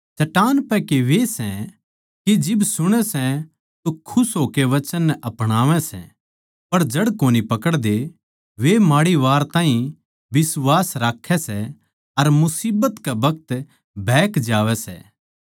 चट्टान पै के वे सै के जिब सुणै सै तो खुश होकै वचन नै अपणावै सै पर जड़ कोनी पकड़दे वे माड़ी वार ताहीं बिश्वास राक्खैं सै अर मुसीबत कै बखत बहक जावैं सै